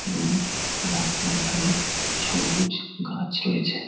এবং রাস্তার ধারে সবুজ গাছ রয়েছে।